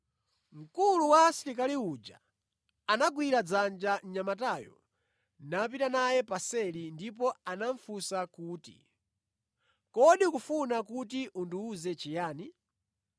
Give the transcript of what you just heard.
Mkulu wa asilikali uja anagwira dzanja mnyamatayo napita naye paseli ndipo anamufunsa kuti, “Kodi ukufuna kuti undiwuze chiyani?”